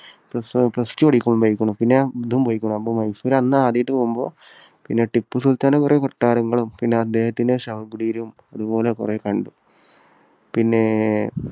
plus two പഠിക്കുമ്പോഴും പോയിരിക്കുന്നു. പിന്നെ ഇതും പോയിരിക്കുന്നു. മൈസൂർ അന്ന് ആദ്യമായിട്ട് പോകുമ്പോൾ പിന്നെ ടിപ്പുസുൽത്താന്റെ കുറേ കൊട്ടാരങ്ങളും പിന്നെ അദ്ദേഹത്തിന്റെ ശവകുടീരവും അതുപോലെ കുറേ കണ്ടു. പിന്നെ